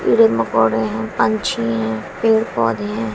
कीड़े मकोड़े हैं पंछी हैं पेड़ पौधे हैं।